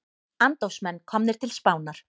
Andófsmenn komnir til Spánar